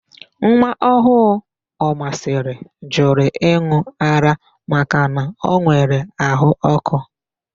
Nwaọhụụ Omasịrị jụrụ ịn̄ụ ara makana o nwere àhụ́ ọ́kụ́.